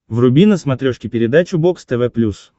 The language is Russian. вруби на смотрешке передачу бокс тв плюс